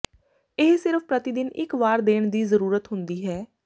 ਇਹ ਸਿਰਫ ਪ੍ਰਤੀ ਦਿਨ ਇਕ ਵਾਰ ਦੇਣ ਦੀ ਜ਼ਰੂਰਤ ਹੁੰਦੀ ਹੈ